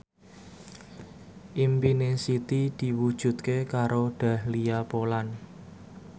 impine Siti diwujudke karo Dahlia Poland